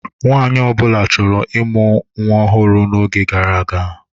Nwaanyị ọ bụla chọrọ ụmụ ọhụrụ n'oge gara aga.